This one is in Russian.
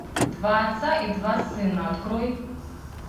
два отца и два сына открой